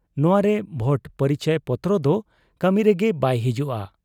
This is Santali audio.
ᱱᱚᱶᱟᱨᱮ ᱵᱷᱳᱴ ᱯᱚᱨᱤᱪᱚᱭ ᱯᱚᱛᱨᱚᱫᱚ ᱠᱟᱹᱢᱤᱨᱮᱜᱮ ᱵᱟᱭ ᱦᱤᱡᱩᱜ ᱟ ᱾